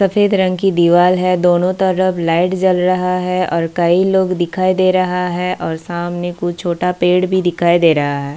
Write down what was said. सफेद रंग की दीवार है दोनों तरफ लाइट जल रहा है और कई लोग दिखाई दे रहा है और सामने कुछ छोटा पेड़ भी दिखाई दे रहा है।